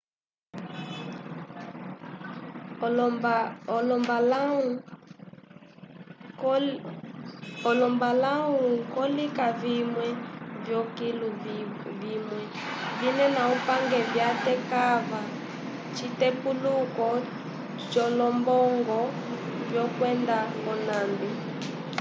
olombalahu ko lika vimwe vyo kilu vimwe vinena upange vya tekava citepuluko co lombongo vyo kwenda konambi